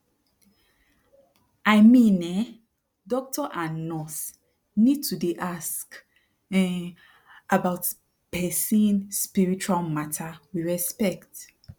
i mean eh doctor and nurse need to dey um ask about person spiritual mata wit respect